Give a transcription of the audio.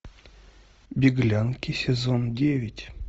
беглянки сезон девять